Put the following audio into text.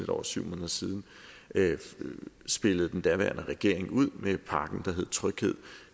over syv måneder siden spillede den daværende regering ud med pakken der hed tryghed